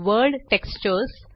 world textures